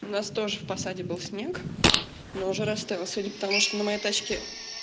у нас тоже в посаде был снег но уже растаял сегодня потому что на моей тачке